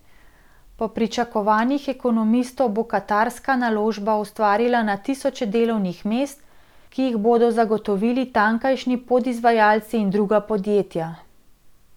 Po pričakovanjih ekonomistov bo katarska naložba ustvarila na tisoče delovnih mest, ki jih bodo zagotovili tamkajšnji podizvajalci in druga podjetja.